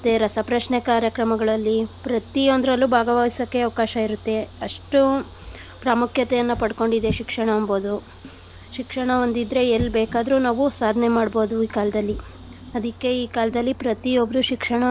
ರಸಪ್ರಶ್ನೆ ಕಾರ್ಯಕ್ರಮಗಳಲ್ಲಿ ಪ್ರತಿಯೊಂದ್ರಲ್ಲೂ ಭಾಗವಹಿಸಕ್ಕೆ ಅವ್ಕಾಶ ಇರತ್ತೆ. ಅಷ್ಟು ಪ್ರಾಮುಖ್ಯತೆಯನ್ನ ಪಡ್ಕೊಂಡಿದೆ ಶಿಕ್ಷಣ ಎಂಬುದು. ಶಿಕ್ಷಣ ಒಂದಿದ್ರೆ ಎಲ್ ಬೇಕಾದ್ರು ನಾವು ಸಾಧನೆ ಮಾಡ್ಬೋದು ಈ ಕಾಲ್ದಲ್ಲಿ ಅದಿಕ್ಕೆ ಈ ಕಾಲ್ದಲ್ಲಿ ಪ್ರತಿಯೊಬ್ರು ಶಿಕ್ಷಣವನ್ನು.